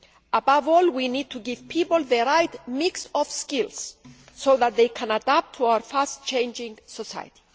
Above all, we need to give people the right mix of skills so that they can adapt to our fast changing society.